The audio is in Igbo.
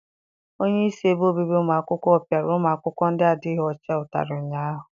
Onyeisi ebe obibi ụmụ akwụkwọ piara ụmụ akwụkwọ ndị adịghị ọcha ụtarị ụnyaahụ.